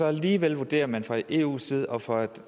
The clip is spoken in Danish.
alligevel vurderer man fra eus side og fra